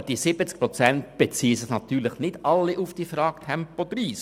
Aber die 70 Prozent beziehen sich natürlich nicht alle auf die Frage zu Tempo 30.